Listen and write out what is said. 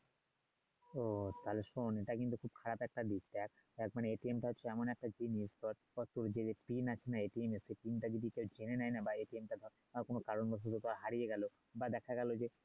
ও তাহলে শোন এটা কিন্তু খুব খারাপ একটা দিক দেখ দেখ টা হচ্ছে এমন একটা জিনিস ধর তোর যে আছে না এর তোর যদি জেনে নেয় না বা এ টা কোন কারণ বশত হারিয়ে গেলো বা দেখা গেলো যে